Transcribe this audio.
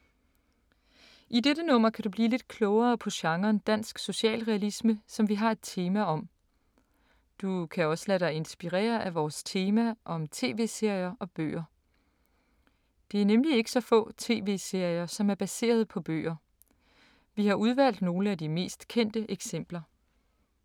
I dette nummer kan du blive lidt klogere på genren dansk socialrealisme, som vi har et tema om. Du kan også lade dig inspirere af vores tema om TV-serier og bøger. Det er nemlig ikke så få TV-serier som er baseret på bøger. Vi har udvalgt nogle af de mest kendte eksempler.